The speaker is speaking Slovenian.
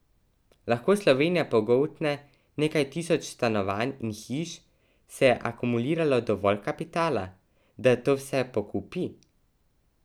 Lahko Slovenija pogoltne nekaj tisoč stanovanj in hiš, se je akumuliralo dovolj kapitala, da to vse pokupi?